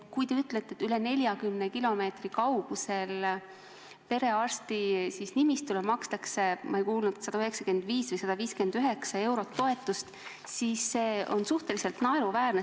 Kui te ütlete, et üle 40 kilomeetri kaugusel asuvale perearstinimistule makstakse – ma ei kuulnud, kui palju see täpselt oli – 195 või 159 eurot toetust, siis see on suhteliselt naeruväärne.